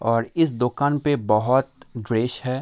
और इस दुकान पे बहुत ड्रेस है।